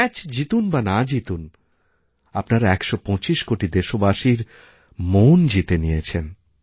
match জিতুন বা না জিতুন আপনারা একশপঁচিশ কোটি দেশবাসীর মন জিতে নিয়েছেন